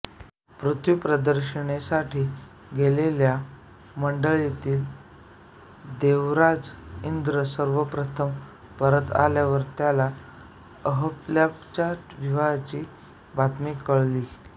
पृथ्वी प्रदक्षिणेसाठी गेलेल्या मंडळीतील देवराज इंद्र सर्वप्रथम परत आल्यावर त्याला अहल्येच्या विवाहाची बातमी कळली